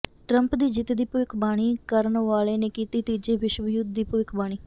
Trump ਦੀ ਜਿੱਤ ਦੀ ਭੱਵਿਖਬਾਣੀ ਕਰਨ ਵਾਲੇ ਨੇ ਕੀਤੀ ਤੀਜੇ ਵਿਸ਼ਵ ਯੁੱਧ ਦੀ ਭੱਵਿਖਬਾਣੀ